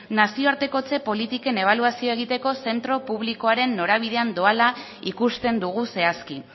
nazioartekotze politiken ebaluazioa egiteko zentro publikoaren norabidean doala ikusten dugu zehazki